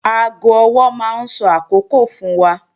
Aago ọwọ́ máa ń sọ àkókò fún wa